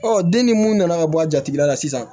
Ɔ den ni mun nana ka bɔ a jatigila la sisan